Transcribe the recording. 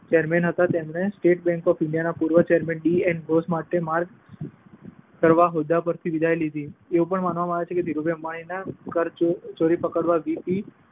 Chairman બન્યા હતા, તેમણે સ્ટેટ બેન્ક ઓફ ઈન્ડિયાના પૂર્વ ચેરમેન ડી. એન. ઘોષ માટે માર્ગ કરવા હોદ્દા પરથી વિદાય લીધી. એવું પણ માનવામાં આવે છે કે ધીરુભાઈ અંબાણીની કરચોરી પકડવાના વી. પી.